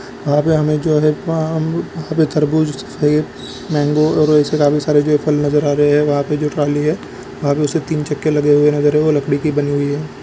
यहाँ पे हमे जो है आम वहाँ पे तरबूज है मेंगो और ऐसे काफी सारे जो है फल नजर आ रहे है वहाँ पे जो थाली है वहाँ पे उसके तीन चक्के लगे हुए है नजर आ रही हैं और वो लकड़ी की बनी हुई है।